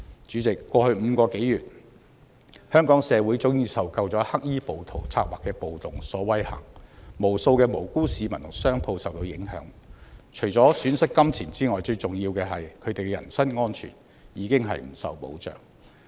主席，過去5個多月，香港社會早已受夠黑衣暴徒策劃的暴動所威嚇，無數的無辜市民和商鋪受到影響，除了損失金錢之外，最重要的是人身安全已經不受保障。